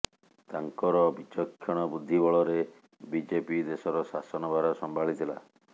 ତାଙ୍କର ବିଚକ୍ଷଣ ବୁଦ୍ଧି ବଳରେ ବିଜେପି ଦେଶର ଶାସନ ଭାର ସମ୍ଭାଳିଥିଲା